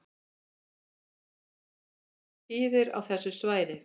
Jarðskjálftar eru tíðir á þessu svæði